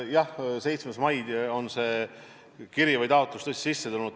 Jah, 7. mail see kiri või taotlus tõesti sisse tuli.